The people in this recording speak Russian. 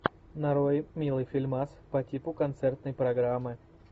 нарой милый фильмас по типу концертной программы